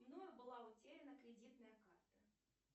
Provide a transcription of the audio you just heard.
мною была утеряна кредитная карта